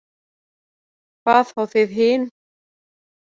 Hvað þá þið hin.